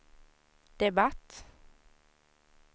debatt